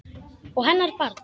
Og hennar barn.